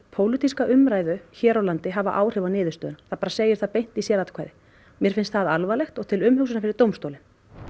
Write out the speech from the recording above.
pólitíska umræðu hér á landi hafa áhrif á niðurstöðuna hann bara segir það beint í sératkvæði mér finnst það alvarlegt og til umhugsunar fyrir dómstólinn